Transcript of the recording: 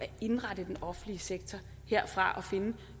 at indrette den offentlige sektor og finde